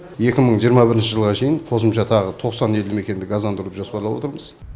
екі мың жиырма бірінші жылға шейін қосымша тағы да тоқсан елді мекенді газдандыруды жоспарлап отырмыз